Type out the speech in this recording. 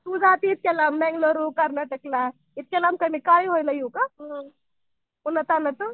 तू जातीस त्याला बंगळुरू कर्नाटकला. इतक्या लांब मी येऊ गं? उन्हातान्हाचं.